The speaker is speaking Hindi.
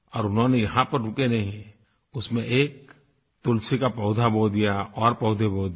और उन्होंने यहाँ पर रुके नहीं हैं उसमें एक तुलसी का पौधा बो दिया और पौधे बो दिए